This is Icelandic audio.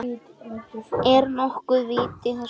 Er nokkuð vit í þessu?